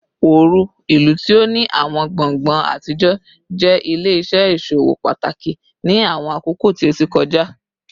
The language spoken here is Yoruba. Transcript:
Oru, ilu ti o ni awọn gbongbo atijọ, jẹ ile-iṣẹ iṣowo pataki ni awọn akoko ti o ti kọja